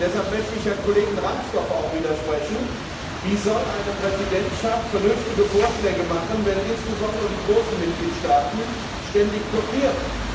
Deshalb möchte ich dem Kollegen Ransdorf auch widersprechen Wie soll eine Präsidentschaft vernünftige Vorschläge machen, wenn insbesondere die großen Mitgliedstaaten ständig blockieren?